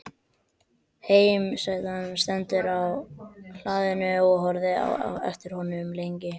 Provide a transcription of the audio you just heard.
Heimasætan stendur á hlaðinu og horfir á eftir honum lengi.